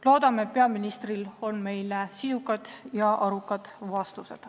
Loodame, et peaministril on meile sisukad ja arukad vastused.